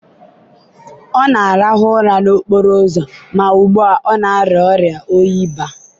ọ na-arahụ ụra n'okporo ụzọ ma ugbu a, ọ na-arịa ọrịa oyi baa.